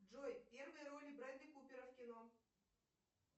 джой первые роли брэдли купера в кино